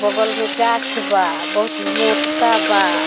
बगल में गाछ बा बहुत मोटा बा।